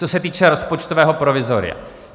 Co se týče rozpočtového provizoria.